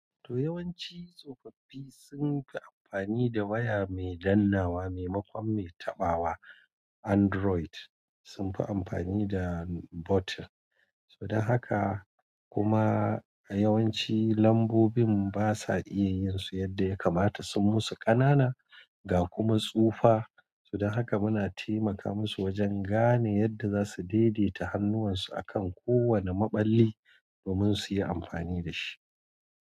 To yawanci tsofaffi sunfi amfani da waya mai dannawa maimakon mai taɓawa. Android sunfi amfani da button. To dan haka kuma a yawanci lambobin basa iyayinsu yadda yakamata. Sun musu ƙanana ga kuma tsufa. To dan haka muna taimaka musu wajen gane yadda zasu daidaita hannuwansu akan kowane maballi domin suyi amfani dashi.